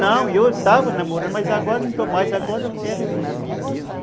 Não, eu estava namorando, mas agora não estou mais, agora eu quero é você mesmo.